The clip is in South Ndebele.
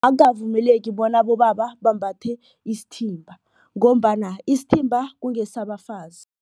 Akukavumeleki bona abobaba bambathe isithimba ngombana isithimba kungesabafazi.